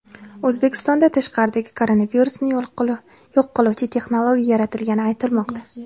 O‘zbekistonda tashqaridagi koronavirusni yo‘q qiluvchi texnologiya yaratilgani aytilmoqda .